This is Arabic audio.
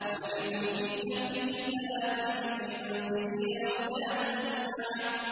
وَلَبِثُوا فِي كَهْفِهِمْ ثَلَاثَ مِائَةٍ سِنِينَ وَازْدَادُوا تِسْعًا